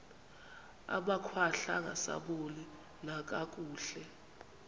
amakhwahla angasaboni nakakuhle